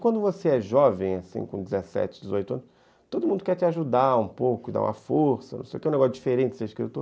Quando você é jovem, com dezessete, dezoito anos, todo mundo quer te ajudar um pouco, dar uma força, não sei o que, é um negócio diferente ser escritor.